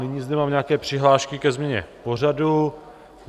Nyní zde mám nějaké přihlášky ke změně pořadu.